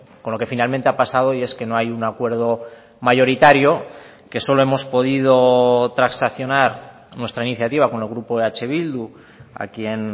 con lo que finalmente ha pasado y es que no hay un acuerdo mayoritario que solo hemos podido transaccional nuestra iniciativa con el grupo eh bildu a quien